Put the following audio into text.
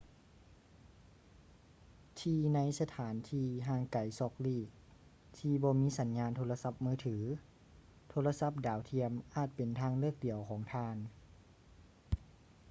ທີ່ໃນສະຖານທີ່ຫ່າງໄກສອກຫຼີກທີ່ບໍ່ມີສັນຍານໂທລະສັບມືຖື ໂທລະສັບດາວທຽມອາດເປັນທາງເລືອກດຽວຂອງທ່ານ